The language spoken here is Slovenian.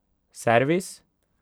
Servis?